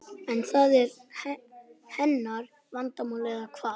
En það er hennar vandamál eða hvað?